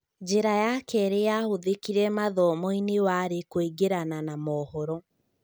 Njĩra ya keerĩ yahũthĩkire mathomo-inĩ warĩ kũingĩrana na mohoro